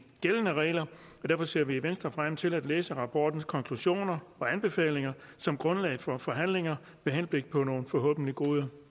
gældende regler og derfor ser vi i venstre frem til at læse rapportens konklusioner og anbefalinger som grundlag for forhandlinger med henblik på nogle forhåbentlig gode